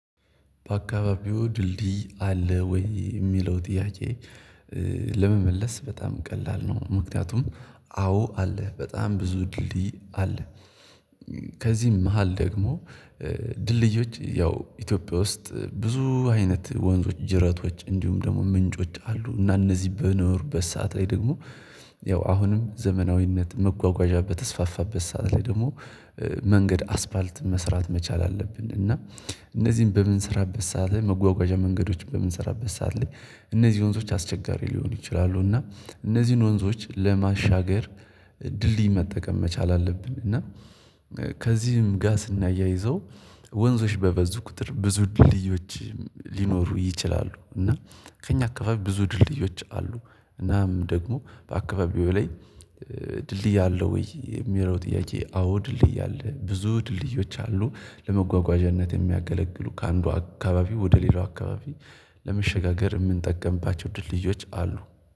በአካባቢው ድልድይ አለ ወይ የሚለው ጥያቄ? ለመመለስ በጣም ቀላል ነው ምክንያቱም አዎ አለ በጣም ብዙ ድልድይ አለ። ከዚህም መሃል ደግሞ ድልድዮች ያው ኢትዮጵያ ውስጥ ብዙ አይነት ወንዞች ጅረቶች እንዲሁም ደግሞ ምንጮች አሉ። እና እነዚህ በኖሩበት ሰዓት ላይ ደግሞ ያው አሁንም ዘመናዊነት መጓጓዣ በተስፋፋበት ሰዓት ላይ ደግሞ መንገድ አስፋልት መስራት መቻል አለብን። እና እነዚህን በምንሰራበት ሰዓት ላይ መጓጓዣ መንገዶች በምንሰራበት ሰዓት ላይ እነዚህ ወንዞች አስቸጋሪ ሊሆኑ ይችላሉ። እና እነዚህን ወንዞች ለማሻገር ድልድይ መጠቀም መቻል አለብን። እና ከዚህም ጋር ስናያይዘው ወንዞች በበዙ ቁጥር ብዙ ድልድዮች ሊኖሩ ይችላሉ እና ከእኛ አካባቢ ብዙ ድልድዮች አሉ። እናም ደግሞ በአካባቢው ላይ ድልድይ አለ ወይ የሚለው ጥያቄ? አዎ ድልድይ አለ ብዙ ድልድዮች አሉ። ለመጓጓዣነት የሚያገለግሉ ከአንዱ አካባቢ ወደ ሌላው አካባቢ ለመሸጋገር የምንጠቀምባቸው ድልድዮች አሉ